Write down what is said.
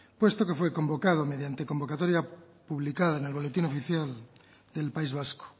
puesto que fue convocado mediante convocatoria publicada en el boletín oficial del país vasco